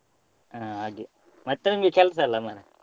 ಹಾ ಹಾಗೆ ಮತ್ತೆ ನಿಮ್ಗೆ ಕೆಲ್ಸ ಅಲ್ಲ ಮರ್ರೆ.